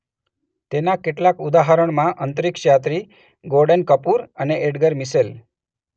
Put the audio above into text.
તેના કેટલાક ઉદાહરણમાં અંતરિક્ષયાત્રી ગોર્ડન કપૂર અને એડ્ગર મિશેલ